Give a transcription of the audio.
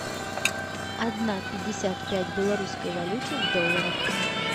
одна пятьдесят пять в белорусской валюте в долларах